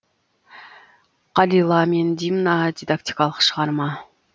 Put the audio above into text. қалила мен димна дидактикалық шығарма